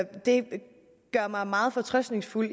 det gør mig meget fortrøstningsfuld